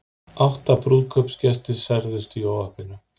Átta brúðkaupsgestir særðust í óhappinu